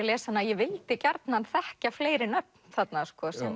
les hana að ég vildi gjarnan þekkja fleiri nöfn þarna